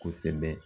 Kosɛbɛ